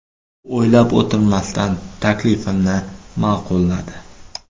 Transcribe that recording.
U o‘ylab o‘tirmasdan taklifimni ma’qulladi.